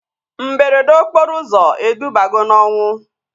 Mberede okporo ụzọ edubago na ọnwụ